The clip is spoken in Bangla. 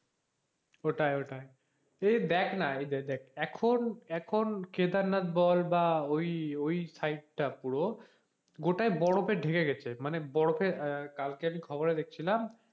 ওটাই ওটাই এই দেখনা এখন এখন কেদারনাথ বল বা side ওই ওই পুরো গোটাই বরফে ঢেকে গেছে মানে বরফে আহ কালকে আমি খবরে দেখছিলাম,